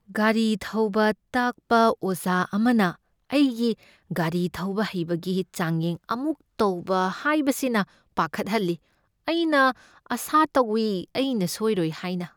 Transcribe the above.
ꯒꯥꯔꯤ ꯊꯧꯕ ꯇꯥꯛꯄ ꯑꯣꯖꯥ ꯑꯃꯅ ꯑꯩꯒꯤ ꯒꯥꯔꯤ ꯊꯧꯕ ꯍꯩꯕꯒꯤ ꯆꯥꯡꯌꯦꯡ ꯑꯃꯨꯛ ꯇꯧꯕ ꯍꯥꯏꯕꯁꯤꯅ ꯄꯥꯈꯠꯍꯜꯂꯤ꯫ ꯑꯩꯅ ꯑꯥꯁꯥ ꯇꯧꯏ ꯑꯩꯅ ꯁꯣꯢꯔꯣꯢ ꯍꯥꯢꯅ꯫